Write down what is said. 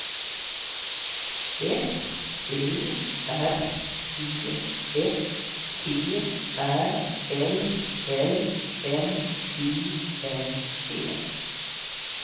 F Ö R E S T Ä L L N I N G